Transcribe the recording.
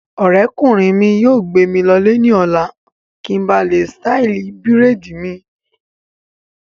Ọ̀rẹ́kùnrin mi yóò gbé mi lọ lè ní ọ̀la kí n ba lè ṣtáìlì bírèèdì písì mi